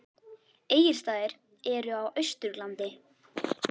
Egilsstaðir eru á Austurlandi.